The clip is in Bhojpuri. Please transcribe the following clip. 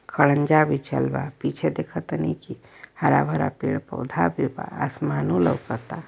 खड़ंजा बिछल बा पीछे देख तनी की हरा-भरा पेड़-पौधा भी बा। आसमानों लउकता।